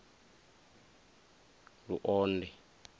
luonde